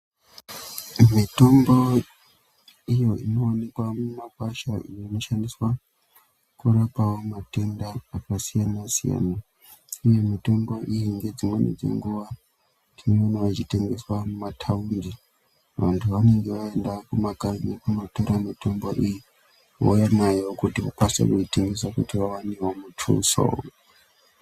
Mitombo iyo inoonekwa mumakwasha inoshandiswa kurapawo matenda akasiyana siyana. Uye mitombo iyi ngedzimweni dzenguva tinoonawo ichitengeswa mumataundi, vantu vanenge vaenda kumakanyi kundotora mitombo iyi vouya nayo kuti vakwanisewo kuitengesa kuti vaone muthuso.